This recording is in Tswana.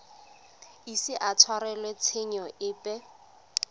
ise a tshwarelwe tshenyo epe